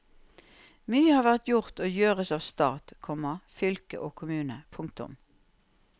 Mye har vært gjort og gjøres av stat, komma fylke og kommune. punktum